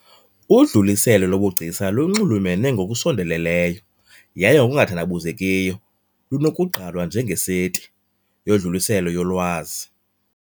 Udluliselo lobugcisa lunxulumene ngokusondeleleyo, yaye ngokungathandabuzekiyo lunokugqalwa njengeseti, yodluliselo yolwazi .